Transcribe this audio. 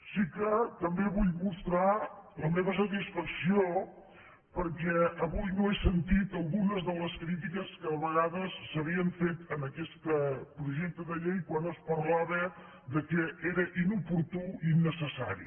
sí que també vull mostrar la meva satisfacció perquè avui no he sentit algunes de les crítiques que a vegades s’havien fet a aquest projecte de llei quan es parlava que era inoportú i innecessari